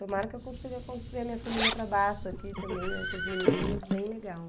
Tomara que eu consiga construir a minha família para baixo aqui também, né, com os menininhos, bem legal.